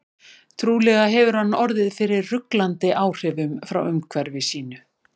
Trúlega hefur hann orðið fyrir ruglandi áhrifum frá umhverfi sínu.